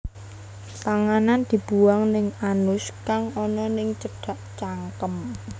Panganan dibuang ning anus kang ana ning cedhak cangkem